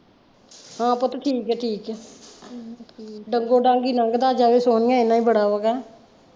ਹਾਂ ਪੁੱਟ ਠੀਕ ਆ ਠੀਕ ਆ, ਡੰਗੋ ਡੰਗ ਹੀ ਲੰਘ ਦਾ ਜਾਵੇ ਸੋਨੀਆ ਏਨਾ ਹੀ ਬੜਾ ਵਾ ਕਹਿ।